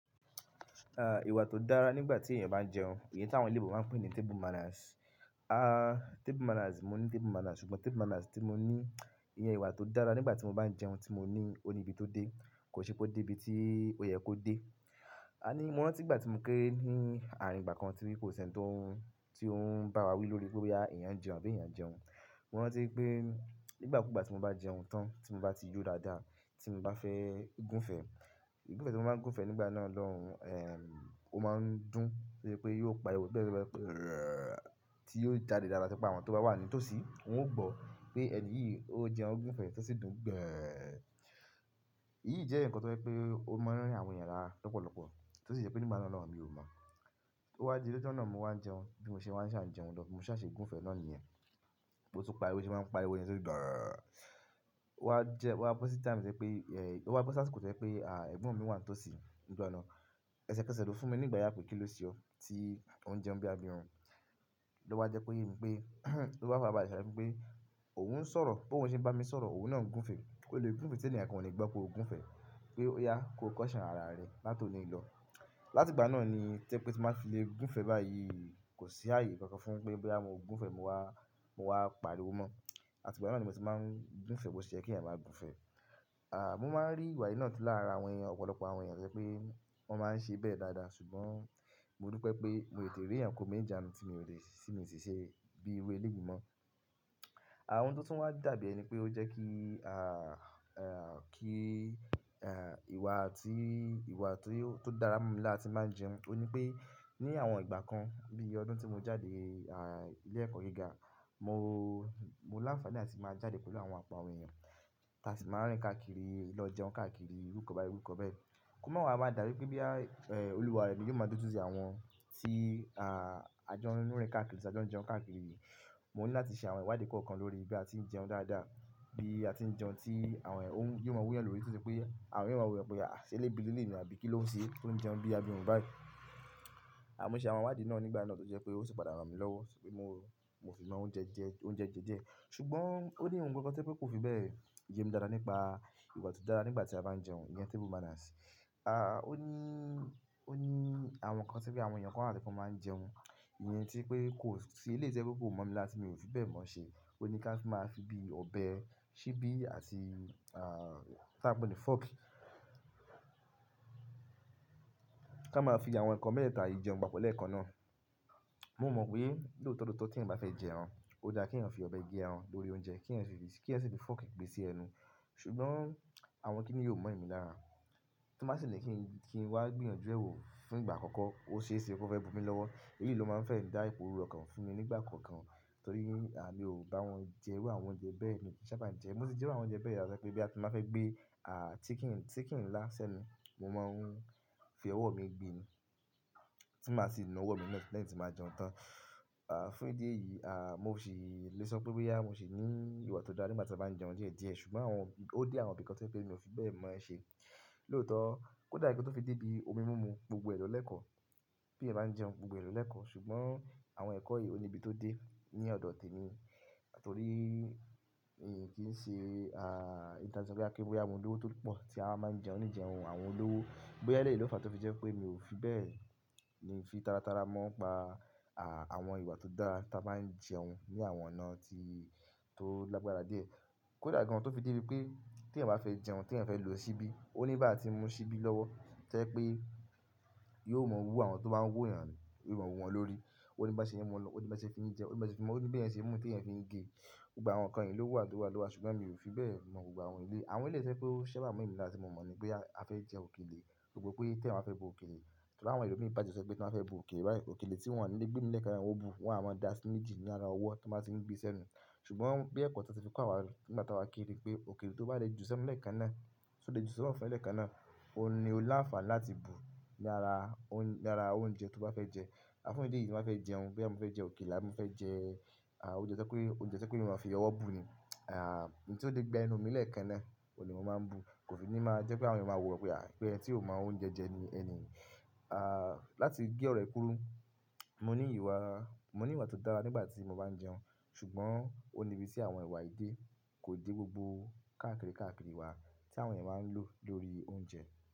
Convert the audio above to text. À, ìwà tó dára nígbà tí èèyàn bá ń jẹun, èyí tí àwọn oloyìnbò máa ń pè ní table manners. Ah, table manners, mo ní table manners, ṣùgbọ́n table manners tí mo ní, ìyẹn ìwà tó dára nígbà tí mo bá ń jẹun tí mo ní, ó ní ibi tó dé. Kò ṣe pé ó dé ibi tí ó yẹ kó dé. A ní, mo rántí ìgbà tí mo kéré ní ààrín ìgbà kan tí kò sí ẹni tó ń, tí ó ń bá wa wí lórí pé boyà, èèyàn ń jẹun, àbí èèyàn o jẹun. Mo rántí pé nígbà kúùgbà tí mo bá jẹun tán, tí mo bá ti yó dáadáa, tí mo bá fẹ́ gúnfẹ̀, gúngúnfẹ̀ tí mo máa ń gúnfẹ̀ nígbà náà lọ́hun, èh, ó máa ń dùn ti o ṣe pé yóò pariwo pé tí yóò jáde dáadáa ti o jẹ pe àwọn tó bá wà ní tòsí, wọn ó gbọ́ pé ẹni yìí ó jẹun gúnfẹ̀, tó sì dùn gbẹ́. Èyí jẹ́ ǹkan tó jẹ́ pé ó mọ àwọn èèyàn lará lọ́pọ̀lọpọ̀. Tó sì jẹ́ pé nígbà náà lọ́hun, mi ò mọ̀. Ó wá di lọ́jọ́ nà mo wá ń jẹun, bí mo ṣe wa ń ṣà jẹun lọ́, bi mo ṣà ṣe gúnfẹ̀ náà niyẹn. Bó ti pariwo ṣe máa ń pariwo yẹn to dùn gbẹ́. Ó wá jẹ́, ó wá bó sí time ti o jẹ pé, èh, ó wá bó si asìkó ti o jẹ pé à, ẹ̀gbọ́n mi wà ní tòsí nígbà náà. Ẹsẹ̀ kẹ̀sẹ̀ lo fún mi ní igbàyà pé kí ló ṣe ọ tí ó ń jẹun bí abirun. Ló wá jẹ́ ko yé mi pé, ló ba farabalẹ̀ ṣe àlàyé fún mi pé òun ń sọ̀rọ̀, bi òun ṣe bá mi sọ̀rọ̀, òun náà ń gúnfẹ̀. O lè gúnfẹ̀ tí ènìyàn kan ò ní gbọ́ pé o gúnfẹ̀. Pé ó yá ko caution àrà rẹ látòní lọ. Láti ìgbà náà ni ti o jẹ pé tí n ba fi le gúnfẹ̀ báyìí kò sí ààyè kankan fún un pé bóyá mo gúnfẹ̀ mo wá, mo wá pariwo mọ̀. Àti ìgbà náà ni mo ti máa ń gúnfẹ̀ bó ṣe yẹ kí èèyàn máa gúnfẹ̀. À, mo máa ń rí ìwà yìí náà tí lára àwọn èèyàn, ọ̀pọ̀lọpọ̀ àwọn èèyàn ti o jẹ́ pé wọ́n máa ń ṣe bẹ́ẹ̀ dáadáa ṣùgbọ́n mo dupẹ pé mo tètè rí èèyàn kó mi ni ìjánu tí mi o sì ṣe bíi irú ẹlẹ́yìí mọ́. Àwọn tó tún wá dàbí ẹni pé ó jẹ́ kí à, à, kí, à, ìwà tí, ìwà tó dára mú mi lára ti ń ba jẹun, ó ní pé ní àwọn ìgbà kan bí ọdún tí mo jáde, à, ilé ẹ̀kọ́ gíga, mo, mo láńfààní láti máa jáde pẹ̀lú àwọn ọpọ àwọn èèyàn. Ti a sì máa ń rìn káàkiri lọ jẹun káàkiri irúkan báyẹn irúkan bẹ́ẹ̀. Kò ma wàá máa dà bí pé boyà, èh, olúwa rẹ̀ ni yóò máa dójuti àwọn tí, à, a jọ n rìn káàkiri tí a jọ jẹun káàkiri. Mo ní láti ṣe àwọn ìwádìí kọ̀ọ̀kan lórí bí a ti ń jẹun dáadáa, bí a ti ń jẹun tí àwọn èèyan, yóò máa wúyàn lórí ti ó ṣe pé àwọn èèyan máa wò èèyan pe à, ṣé elebí ni eleyìí àbí kí ló ń ṣe, tó ń jẹun bí abirun báyìí. A mo ṣe àwọn ìwádìí náà nígbà náà tó jẹ́ pé ó sì padà ràn mí lọ́wọ́, pé mo, mo fi mọ oúnjẹ jẹ oúnjẹ jẹjẹ. Ṣùgbọ́n ó ní ohun kankan tó jẹ́ pé kò fi bẹ́ẹ̀ yé mi dáadáa nípa ìwà tó dára nígbà tí a bá ń jẹun, ìyẹn table manners. À, ó ní, ó ní àwọn ǹkan tí bí àwọn èèyàn kan wa ti wọn máa ń jẹun. Ìyẹn tí pé, kò sí, eleyìí tí o jẹ́ pe kò mọ̀ mi lára ti mi ò fi bẹ́ẹ̀ mọ́ ṣe. Ó ní ká máa fi bíi ọbẹ̀, síbí àti, à, tí a ń pè ní fork. Ká máa fi àwọn ǹkan mẹ́ẹ̀tata yìí jẹun papọ̀ lẹ́ẹ̀kan náà. Mo mọ̀ pé lóòótọ́ lóòótọ́ tí èèyàn bá fẹ́ jẹ ẹran, ó dáa kí èèyàn fi ọbẹ̀ gé ẹran lórí oúnjẹ, kí èèyan si fi, kí èèyan si fi fork gbé sí ẹnu. Ṣùgbọ́n àwọn kíni yíì o mọ̀ èmí lára. Tí màá sì ni kí n, kí n wá gbìyànjú ẹ̀ wò fún ìgbà àkọ́kọ́, ó ṣeéṣe ko fẹ́ bù mi lọ́wọ́. Èyí ló máa ń fẹ́ dá ìpò rurú ọkàn fún mi nígbà kankan torí, à, mi ò bá wọn jẹ irú àwọn oúnjẹ bẹ́ẹ̀ mi o kí n sabá jẹ. Mo ti jẹ́ irú àwọn oúnjẹ bẹ́ẹ̀ yá ti o jẹ́ pé ti n ba fẹ́ gbé, à, chicken, chicken ńlá ṣẹ́nu, mo máa ń fi ọwọ́ mi gbe ni. Tí màá sì nu ọwọ́ mi náà lẹ́yìn tí n ba jẹun tán. À, fún ìdí èyí, à, mo ṣì lè sọ pé bóyá, mo ṣì ní ìwà tó dára nígbà tí mo bá ń jẹun díẹ̀ díẹ̀. Ṣùgbọ́n àwọn, ó dé àwọn nǹkan tí o jẹ pé mi ò fi bẹ́ẹ̀ mọ́ ṣe. Lóòótọ́, kò dà ti ó fi dé bí omi múmu gbogbo ẹ lo lẹkọ. Bí èèyàn bá ń jẹun gbogbo ẹ lo lẹkọ. Ṣùgbọ́n àwọn ẹ̀kọ́ yìí ó ní ibi tó dé ní ọ̀dọ̀ tèmi torí mi kì í ṣe, à, ẹni tí a le sọ pé a, sọ pé bóyá mo lówó tó pọ̀ tí a wa máa ń jẹun ní ìjẹun àwọn olówó. Bóyá eleyìí ló fàá tó fi jẹ́ pé mi ò fi bẹ́ẹ̀ ni fi tàràtàrà mọ́ pa, à, àwọn ìwà tó dára tí a bá ń jẹun ní àwọn ọ̀nà tí, tó lágbára díẹ̀. Kò dà gan tó fi dé bi pé tí èèyàn bá fẹ́ jẹun, tí èèyàn fẹ́ lò ṣíbí, ó ní bi á ti mú ṣíbí lọ́wọ́ ti o jẹ pé yóò mọ́ wú àwọn tó bá ń wò èèyàn ní, yóò mọ́ wú wọn lórí. Ó ní bi á ṣe é mú lọ̀, ó ní bi á ṣe fi jẹun, ó ní bi á ṣe é fi máa, ó ní bí a ṣe mú tí èèyàn fi ń gé. Gbogbo àwọn ǹkan yìí ló wà ló wà ló wà ṣùgbọ́n mi ò fi bẹ́ẹ̀ mọ̀ gbogbo àwọn eleyìí. Àwọn eleyìí tí o jẹ́ pé ó sábà mọ̀ emí lára tí mo mọ̀ ni bóyá a fẹ́ jẹ òkèlè, gbogbo pé tí èèyàn bá fẹ́ bu òkèlè. Torí awọ́n ẹlòmíì bàjẹ́ ti o jẹ́ pé tí wọ́n bá fẹ́ bu òkèlè báyìí, òkèlè tí wọ́n ni le gbé mì lẹ̀kan náà niwọ́n ó bu, wọ́n o wá máa dá sí méjì ní ara ọwọ́ tí wọ́n ba ti ń gbé sí ẹnu. Ṣùgbọ́n bí ẹ̀kọ́ ti wọn ti fi kọ́ àwa nígbà tí àwá kéré pé òkèlè tó bá lé ju sẹ́nu lẹ́ẹ̀kan náà, tí ó lé ju sínú ọfún ẹ lẹ́ẹ̀kan náà, óun ní ó láǹfààní láti bù ní ara, ní ara oúnjẹ tó bá fẹ́ jẹ. A fún ìdí elèyí tí mo ba fẹ́ jẹun, boyà mo fẹ́ jẹ òkèlè àbí mo fẹ́ jẹ, à, oúnjẹ tí o jẹ́ pe, oúnjẹ tí o jẹ́ pe èèyan máa n fi ọwọ́ bù ni. À, èyí tí ó lè gba ẹnu mi lẹ́ẹ̀kan náà òun ni mo máa n bu, ko fi ni ma jẹpe àwọn èèyan a máa wa wo wípé ẹni ti o mọ oúnjẹ jẹ ni ẹni yìí. Láti gé ọrọ yìí kúrú, mo ni ìwà, mo ni ìwà to dára ti mo ba n jẹun. Ṣùgbọ́n ó níbi tí àwọn ìwà èdè kò dé gbogbo káàkiri káàkiri wa tí àwọn ènìyàn máa ń lò lórí oúnjẹ.